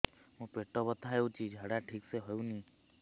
ମୋ ପେଟ ବଥା ହୋଉଛି ଝାଡା ଠିକ ସେ ହେଉନି